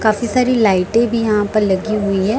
काफी सारी लाइटें भी यहां पर लगी हुई हैं।